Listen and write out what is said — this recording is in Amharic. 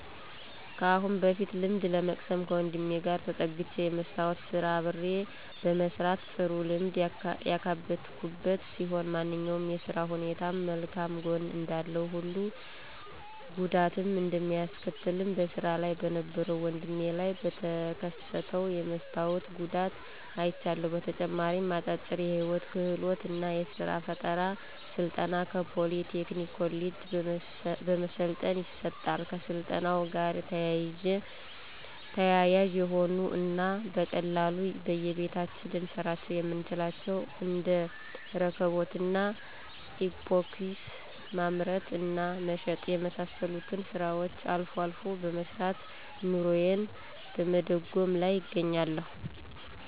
ከአሁን በፊት ልምድ ለመቅሰም ከወንድሜ ጋር ተጠግቸ የመስታዎት ስራ አብሬ በመስራት ጥሩ ልምድ ያካበትኩበት ሲሆን ማንኛውም የስራ ሁኔታም መልካም ጎን እንዳለው ሁሉ ጉዳትም እንደሚያስከትልም በስራ ላይ በነበረው ወድሜ ላይ በተከሰተው የመስታወት ጉዳት አይቻለሁ። በተጨማሪም አጫጭር የህይወት ክህሎት እና የስራ ፈጠራ ስልጠና ከፖሊ ቴክኒክ ኮሌጅ በመሰልጠን ይሰጣል። ከስልጠናው ጋር ተያያዥ የሆኑ እና በቀላሉ በየቤታችን ልንሰራቸው የምንችላቸውን እንደ እርክቦት እና ኢፓክሲ ማምረት እና መሸጥ የመሳሰሉትን ስራዎችን አልፎ አልፎ በመስራት ኑሮየን በመደጎም ላይ እገኛለሁ።